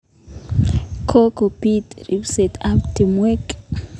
Kokopiit ripset ap timwek